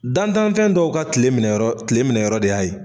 Dantanfɛn dɔw ka kile minɛ yɔrɔ kile minɛ yɔrɔ de y'a ye.